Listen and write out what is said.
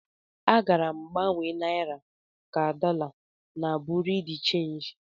Agara m gbanwe naira ka dollar na bureau de change.